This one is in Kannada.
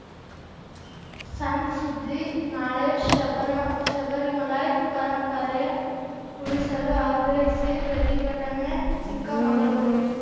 ಸಣ್‌ ಸುದ್ದಿ ನಾಳೆ ಶಬರ ಶಬರಿಮಲೈ ಪರಂಪರೆ ಉಳಿಸಲು ಆಗ್ರಹಿಸಿ ಪ್ರತಿಭಟನೆ ಚಿಕ್ಕಮಗಳೂರು